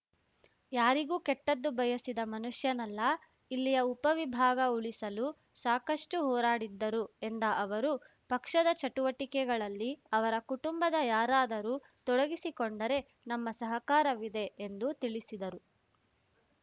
ಯಾರಿಗೂ ಕೆಟ್ಟದ್ದು ಬಯಸಿದ ಮನುಷ್ಯನಲ್ಲ ಇಲ್ಲಿಯ ಉಪವಿಭಾಗ ಉಳಿಸಲು ಸಾಕಷ್ಟುಹೋರಾಡಿದ್ದರು ಎಂದ ಅವರು ಪಕ್ಷದ ಚಟುವಟಿಕೆಗಳಲ್ಲಿ ಅವರ ಕುಟುಂಬದ ಯಾರಾದರೂ ತೊಡಗಿಸಿಕೊಂಡರೆ ನಮ್ಮ ಸಹಕಾರವಿದೆ ಎಂದು ತಿಳಿಸಿದರು